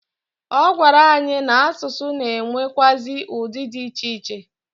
Ọ gwara anyị na asụsụ na enwekwaazi udi di iche iche.